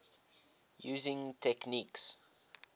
using techniques